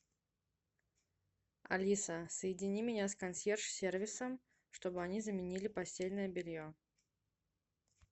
алиса соедини меня с консьерж сервисом чтобы они заменили постельное белье